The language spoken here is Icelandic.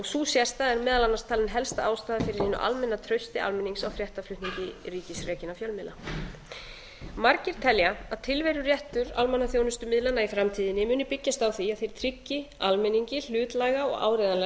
sú sérstaða er meðal annars talin helsta ástæðan fyrir hinu almenna trausti almennings á fréttaflutningi ríkisrekinna fjölmiðla margir telja að tilveruréttur almannaþjónustumiðlanna í framtíðinni muni byggjast á því að þeir tryggi almenningi hlutlæga og áreiðanlega